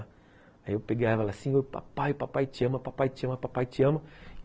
Aí eu peguei ela assim e falei, papai, papai te amo, papai te amo, papai te amo.